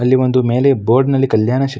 ಅಲ್ಲಿ ಒಂದು ಮೇಲೆ ಬೋರ್ಡ್ನಲ್ಲಿ ಕಲ್ಯಾಣ --